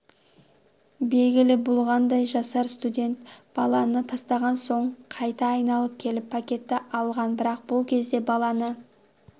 белгілі болғандай жасар студент баланы тастаған соң қайта айналып келіп пакетті алған бірақ бұл кезде баланы